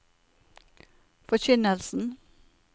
forkynnelsen